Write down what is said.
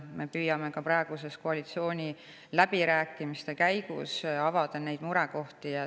Me püüame ka koalitsiooniläbirääkimiste käigus neid murekohti avada.